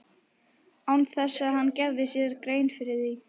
Án þess að hann gerði sér grein fyrir því.